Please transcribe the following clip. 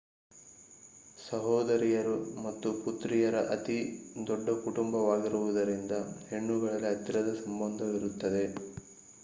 ಸಹೋದರಿಯರು ಮತ್ತು ಪುತ್ರಿಯರ ಅತಿ ದೊಡ್ಡ ಕುಟುಂಬವಾಗಿರುವುದರಿಂದ ಹೆಣ್ಣುಗಳಲ್ಲಿ ಹತ್ತಿರದ ಸಂಬಂಧವಿರುತ್ತದೆ